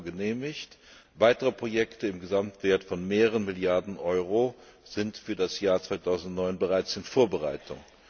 Euro genehmigt, weitere Projekte im Gesamtwert von mehreren Milliarden Euro sind für das Jahr 2009 bereits in Vorbereitung.